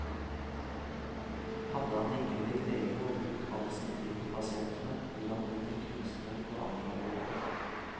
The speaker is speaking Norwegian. Hadde han ikke blitt lege og brukt all sin tid på pasientene, ville han blitt en kunstner på andre områder.